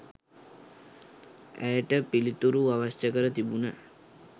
ඇයට පිළිතුරු අවශ්‍ය කර තිබුණ